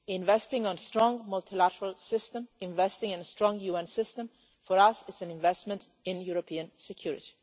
Investing in a strong multilateral system and in a strong UN system is for us an investment in European security.